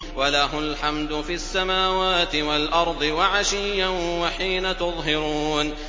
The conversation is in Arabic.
وَلَهُ الْحَمْدُ فِي السَّمَاوَاتِ وَالْأَرْضِ وَعَشِيًّا وَحِينَ تُظْهِرُونَ